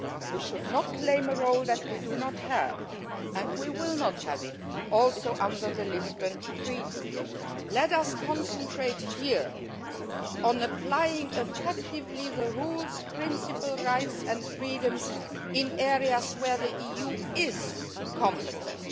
level. We should not claim a role that we do not have, and we will not have it under the Lisbon Treaty either. Let us concentrate here on applying effectively the rules, principles, rights and freedoms in areas where the EU is competent.